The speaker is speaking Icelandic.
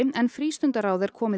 en frístundaráð er komið